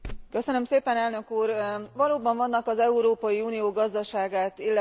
Valóban vannak az Európai Unió gazdaságát illetően biztató jelek.